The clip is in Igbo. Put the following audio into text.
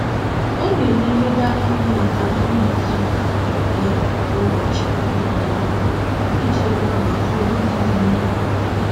Ọ na-elenyegharị anya na kalịnda izuụka ya kwa ụbọchị Mọnde ọbụla iji mara maka ọrụ ndị dị n'ihu.